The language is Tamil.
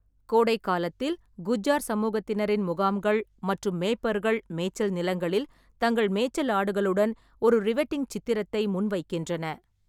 கோடைக்காலத்தில், குஜ்ஜார் சமூகத்தினரின் முகாம்கள் மற்றும் மேய்ப்பர்கள் மேய்ச்சல் நிலங்களில் தங்கள் மேய்ச்சல் ஆடுகளுடன் ஒரு ரிவெட்டிங் சித்திரத்தை முன்வைக்கின்றன.